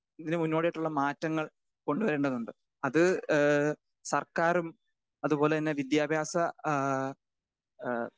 Speaker 2 ഇതിനു മുന്നോടിയായിട്ടുള്ള മാറ്റങ്ങൾ കൊണ്ടുവരേണ്ടതുണ്ട്. അത് ഏഹ് സർക്കാരും അതുപോലെതന്നെ വിദ്യാഭ്യാസ ഏഹ് ആ